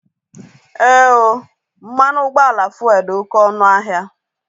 Ee ooo, mmanụ ụgbọala fuelu dị oké ọnụ ahịa